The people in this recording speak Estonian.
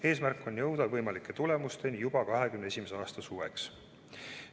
Eesmärk on jõuda võimalike tulemusteni juba 2021. aasta suveks.